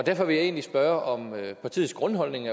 derfor vil jeg egentlig spørge om partiets grundholdning